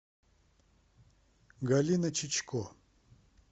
галина чичко